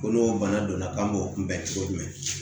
Ko n'o bana donna k'an b'o kunbɛn cogo jumɛn